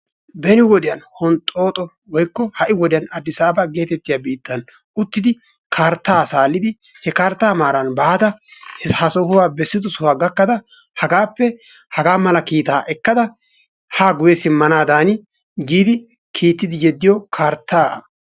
Beni wode honxxooxo woykko ha"i wodiyan Addisaaba geetettiya biittan uttidi karttaa a saalidi he karttaa maaran baada ha sohuwa bessido sohuwa gakkada hagaappe hagaa mala kiitaa ekkada haa guyye simmanaadan giidi kiittidi yeddiyo karttaa.